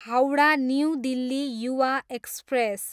Howrah new Delhi Yuva express